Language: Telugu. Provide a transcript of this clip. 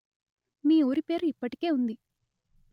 మీ ఊరి పేరు ఇప్పటికే ఉంది